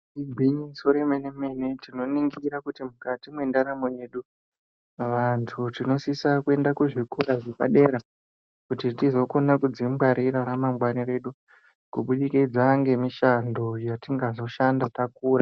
Igwinyiso remene-mene tinoningira kuti mukati mwendaramo yedu, vanthu tinosisa kuenda kuzvikora zvepadera kuti tizokona kudzingwarira ramangwani redu, kubudikidza ngemishando yatinga zoshanda takura.